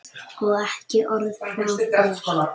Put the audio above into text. Og ekki orð frá þér!